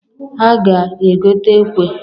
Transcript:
A ga-egota ekwe.